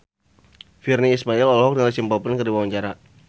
Virnie Ismail olohok ningali Simple Plan keur diwawancara